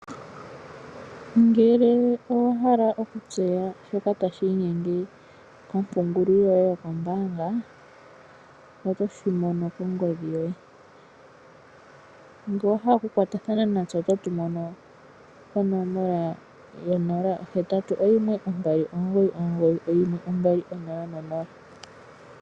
Ngele owahala okutseya shoka tashi inyenge kompungulilo yoye yokombaanga, otoshi mono kongodhi yoye. Ngele owahala okukwatathana natse ototu mono konomola yo 0812991200.